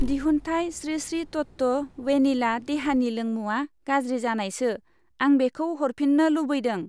दिहुनथाइ स्रि स्रि तत्व वेनिला देहानि लोंमुआ गाज्रि जानायसो, आं बेखौ हरफिन्नो लुबैदों।